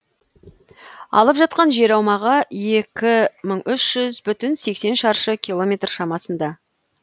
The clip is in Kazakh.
алып жатқан жер аумағы екі мың үші жүз бүтін сексен шаршы километр шамасында